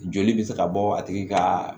Joli bɛ se ka bɔ a tigi ka